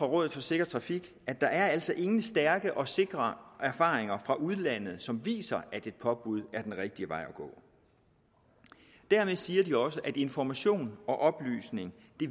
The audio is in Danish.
rådet for sikker trafik siger at der altså ingen stærke og sikre erfaringer fra udlandet som viser at et påbud er den rigtige vej at gå dermed siger de også at information og oplysning